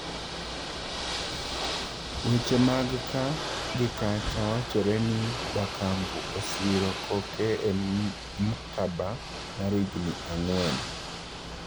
Weche mag kaa gi kacha wachore ni Bakambu Osiro koke e mkataba mar higni ang'wen.